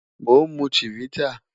Mo n mu Chivita